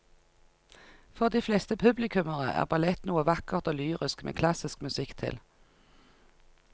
For de fleste publikummere er ballett noe vakkert og lyrisk med klassisk musikk til.